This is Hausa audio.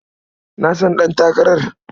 Na san ɗantakarar.